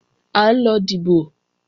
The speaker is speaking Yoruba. À ń lọ dìbò